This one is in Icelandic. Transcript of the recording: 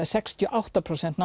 sextíu og átta prósent